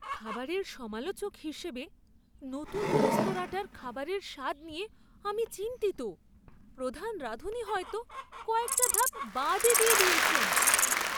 খাবারের সমালোচক হিসেবে নতুন রেস্তোরাঁটার খাবারের স্বাদ নিয়ে আমি চিন্তিত। প্রধান রাঁধুনি হয়তো কয়েকটা ধাপ বাদই দিয়ে দিয়েছেন।